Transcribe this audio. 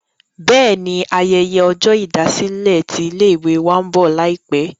bẹ́ẹ̀ni, ayẹyẹ ọjọ́ ìdásílẹ̀ tí ilé ìwé wa ń bọ̀ láìpẹ̀